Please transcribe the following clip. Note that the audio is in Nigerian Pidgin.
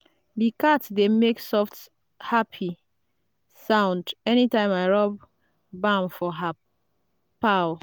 the cat dey make soft happy sound anytime i rub balm for her paw.